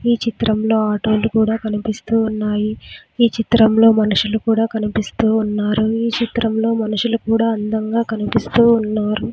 ఈ చిత్రంలో ఆటో లు కూడా కనిపిస్తూ ఉన్నాయి ఈ చిత్రంలో మనుషులు కూడా కనిపిస్తూ ఉన్నారు ఈ చిత్రంలో మనుషులు కూడా అందంగా కనిపిస్తూ ఉన్నారు.